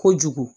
Kojugu